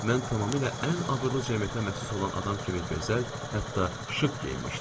Mən tamamilə ən abırlı cəmiyyətə məxsus olan adam kimi gözəl, hətta şıq geyinmişdim.